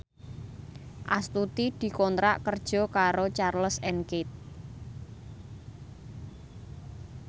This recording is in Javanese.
Astuti dikontrak kerja karo Charles and Keith